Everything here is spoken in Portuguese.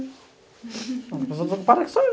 A única pessoa desocupada aqui sou eu.